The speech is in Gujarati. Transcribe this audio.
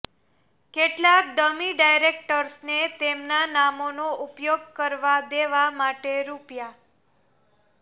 કેટલાંક ડમી ડાયરેક્ટર્સને તેમના નામનો ઉપયોગ કરવા દેવા માટે રૂ